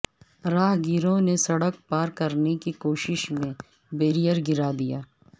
راہ گیروں نے سڑک پار کرنے کی کوشش میں بیرئیر گرادیا